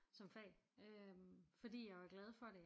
Som fag øh fordi jeg var glad for det